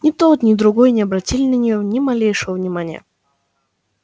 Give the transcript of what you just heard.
но ни тот ни другой не обратили на неё ни малейшего внимания